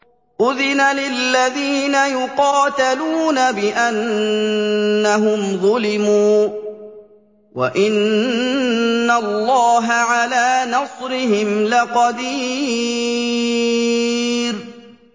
أُذِنَ لِلَّذِينَ يُقَاتَلُونَ بِأَنَّهُمْ ظُلِمُوا ۚ وَإِنَّ اللَّهَ عَلَىٰ نَصْرِهِمْ لَقَدِيرٌ